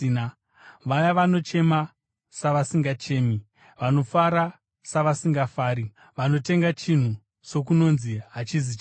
vaya vanochema, savasingachemi; vanofara savasingafari; vanotenga chinhu, sokunonzi hachizi chavo;